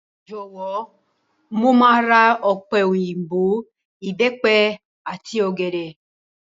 Jọ̀wọ́, mo máa ra ọ̀pẹ̀ òyìnbò, Ìbẹ́pẹ àti ọ̀gẹ̀dẹ̀.